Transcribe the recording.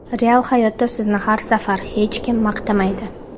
Real hayotda sizni har safar hech kim maqtamaydi.